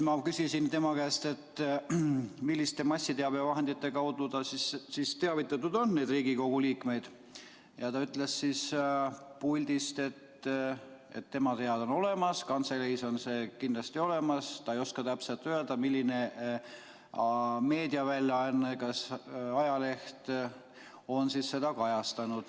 Ma küsisin tema käest, milliste massiteabevahendite kaudu ta siis teavitanud on neid Riigikogu liikmeid, ja ta ütles siit puldist, et tema teada on olemas, kantseleis on see kindlasti olemas, aga ta ei oska täpselt öelda, milline meediaväljaanne, ajaleht on seda kajastanud.